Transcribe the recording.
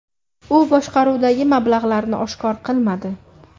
U boshqaruvdagi mablag‘larini oshkor qilmadi.